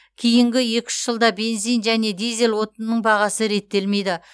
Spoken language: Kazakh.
кейінгі екі үш жылда бензин және дизель отынының бағасы реттелмейді